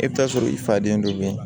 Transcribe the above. E bɛ taa sɔrɔ i fa den dɔ bɛ yen